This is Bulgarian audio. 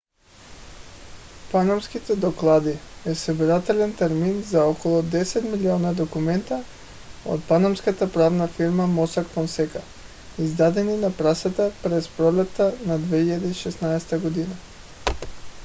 панамските доклади е събирателен термин за около 10 милиона документа от панамската правна фирма mossack fonseca издадени на пресата през пролетта на 2016 г